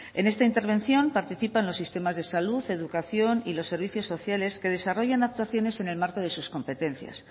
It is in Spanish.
en esta intervención participan los sistemas de salud educación y los servicios sociales que desarrollan actuaciones en el marco de sus competencias